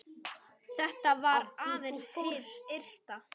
Þetta var aðeins hið ytra.